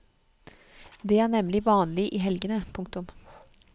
Det er nemlig vanlig i helgene. punktum